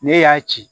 Ne y'a ci